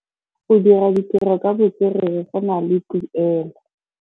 Go dira ditirô ka botswerere go na le tuelô.